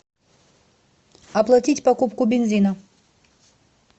оплатить покупку бензина